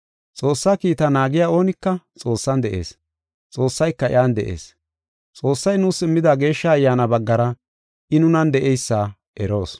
Xoossaa kiitaa naagiya oonika Xoossan de7ees; Xoossayka iyan de7ees. Xoossay nuus immida Geeshsha Ayyaana baggara I nunan de7eysa eroos.